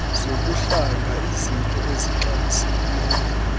zobuhlanga iiznto ezixabisekileyo